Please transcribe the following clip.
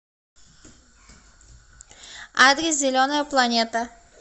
адрес зеленая планета